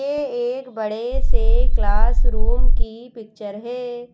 यह एक बड़े से क्लासरूम की पिक्चर है।